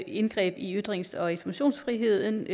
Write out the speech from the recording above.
indgreb i ytrings og informationsfriheden